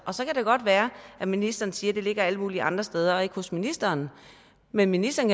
så kan det godt være at ministeren siger det ligger alle mulige andre steder og ikke hos ministeren men ministeren